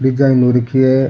Design हो रखी है।